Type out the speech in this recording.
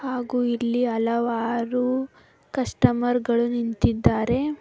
ಹಾಗು ಇಲ್ಲಿ ಹಲವಾರು ಕಸ್ಟಮರ್ ಗಳು ನಿಂತಿದ್ದಾರೆ.